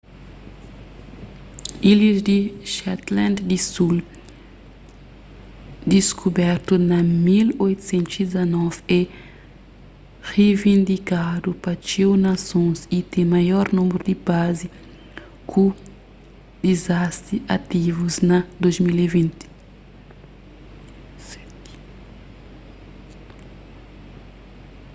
ilhas di shetland di sul diskubertu na 1819 é rivindikadu pa txeu nasons y ten maior númeru di bazi ku dizaseti ativus na 2020